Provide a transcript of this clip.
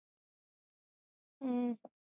ਹੂ